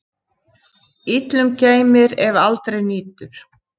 Illum geymir, ef aldrei nýtur.